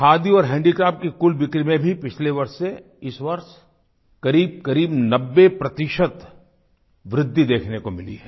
खादी और हैंडीक्राफ्ट की कुल बिक्री में भी पिछले वर्ष से इस वर्ष क़रीबक़रीब 90 प्रतिशत वृद्धि देखने को मिली है